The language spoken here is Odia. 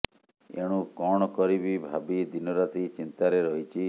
ଏଣୁ କଣ କରିବି ଭାବି ଦିନ ରାତି ଚିନ୍ତାରେ ରହିଛି